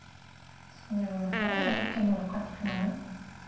сондай болмаса өткенді ойлап қатты қиналмаймын